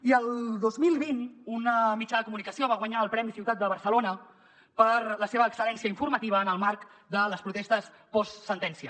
i el dos mil vint un mitjà de comunicació va guanyar el premi ciutat de barcelona per la seva excel·lència informativa en el marc de les protestes postsentència